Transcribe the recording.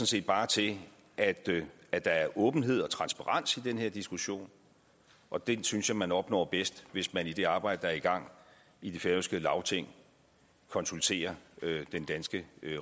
set bare til at at der er åbenhed og transparens i den her diskussion og den synes jeg man opnår bedst hvis man i det arbejde der er i gang i det færøske lagting konsulterer den danske